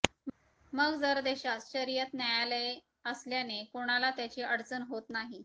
मग जर देशात शरियत न्यायालये असल्याने कोणाला त्याची अडचण होत नाही